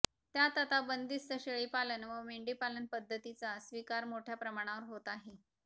त्यात आता बंदिस्त शेळीपालन व मेंढीपालन पद्धतीचा स्वीकार मोठ्या प्रमाणावर होत आहे